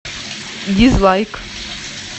дизлайк